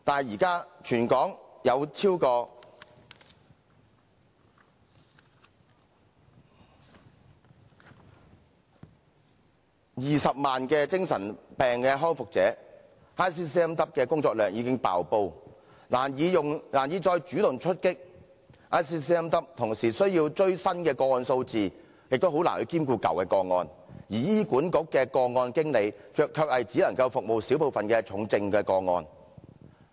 現時全港有超過20萬名精神病康復者 ，ICCMW 的工作量已經"爆煲"，難以再主動出擊 ；ICCMW 同時需要追新的個案數字，亦難以兼顧舊的個案，而醫院管理局的個案經理卻只能服務小部分重症個案。